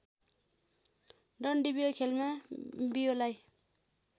डन्डीबियो खेलमा बियोलाई